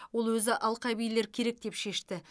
ол өзі алқабилер керек деп шешті